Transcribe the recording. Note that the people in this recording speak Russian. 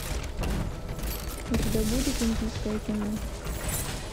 у тебя будет индийское кино